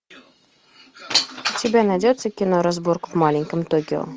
у тебя найдется кино разборка в маленьком токио